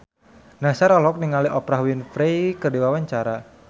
Nassar olohok ningali Oprah Winfrey keur diwawancara